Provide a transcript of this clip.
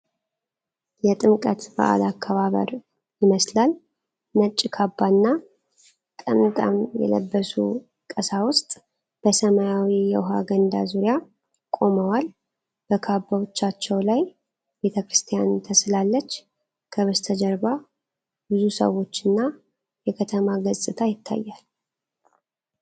የጥምቀት በዓል አከባበር ይመስላል። ነጭ ካባና ጠምጥም የለበሱ ቀሳውስት በሰማያዊ የውሃ ገንዳ ዙሪያ ቆመዋል። በካባዎቻቸው ላይ ቤተ ክርስቲያን ተስላለች፤ ከበስተጀርባ ብዙ ሰዎችና የከተማ ገጽታ ይታያል።